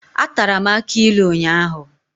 Atara m akụ ilu ụnyahụ.